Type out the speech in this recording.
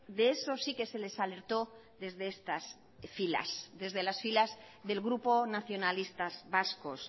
de eso sí que se les alertó desde estas filas desde las filas del grupo nacionalistas vascos